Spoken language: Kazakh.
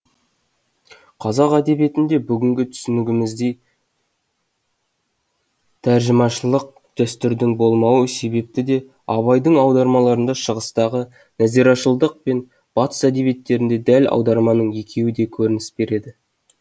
қазақ әдебиетінде бүгінгі түсінігіміздей тәржімашылық дәстүрдің болмауы себепті де абайдың аудармаларында шығыстағы нәзирашылдық пен батыс әдебиеттеріндегі дәл аударманың екеуі де көрініс береді